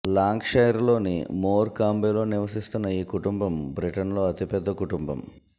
Lancashire లోని మోర్ కాంబేలో నివసిస్తున్న ఈ కుటుంబం బ్రిటన్లో అతిపెద్ద కుటుంబం